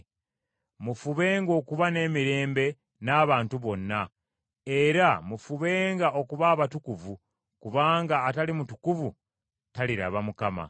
Mufubenga okuba n’emirembe n’abantu bonna, era mufubenga okuba abatukuvu, kubanga atali mutukuvu taliraba Mukama.